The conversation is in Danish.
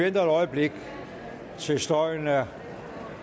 et øjeblik til støjen er